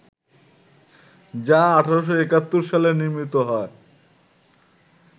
যা ১৮৭১ সালে নির্মিত হয়